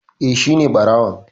Eh, Shine ɓarawon